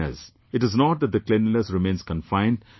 It is not that the cleanliness remains confined to that place